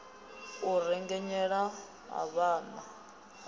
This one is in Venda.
a rengenyela a vhaḓa a